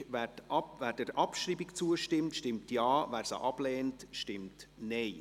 Wer der Abschreibung zustimmt, stimmt Ja, wer diese ablehnt, stimmt Nein.